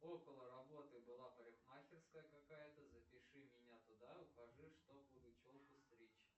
около работы была парикмахерская какая то запиши меня туда укажи что буду челку стричь